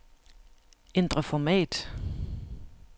Ændr format.